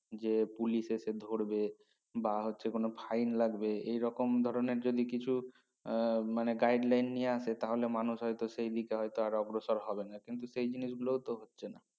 যে পুলিশ এসে ধরবে বা হচ্ছে কোনো fine লাগবে এই রকম ধরনের যদি কিছু আহ মানে guideline নিয়ে আসে তা হলে মানুষ হয়তো সে দিকে হয়তো আগ্রসর হবে না কিন্তু সেই জিনিস গুলো তো হচ্ছে না